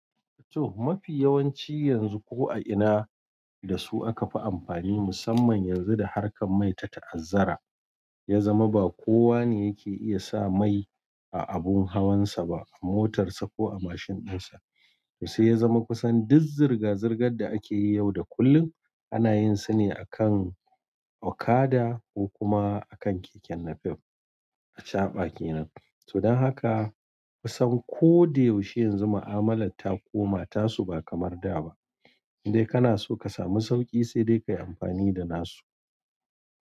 To, mafi yawanci yanzu ko a ina da su akafi amfani musamman yanzu da harkar mai ta ta'azzara ya zama ba kowa ne yake iya sa mai a abun hawan sa ba motar sa ko a mashin ɗinsa to sai ya zama kusan duk zirga-zirgar da akeyi yau da kullum ana yin su ne akan okada ko kuma akan keken napep a caɓa kenan. To don haka kusan ko da yaushe yanzu ma'amala ta koma tasu ba kamar da ba. Indai kana so ka samu sauƙi sai dai kayi amfani da nasu.